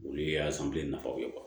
Olu ye a san bilen nafaw ye